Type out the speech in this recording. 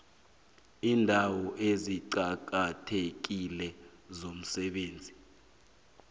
iindawo eziqakathekile zomsebenzi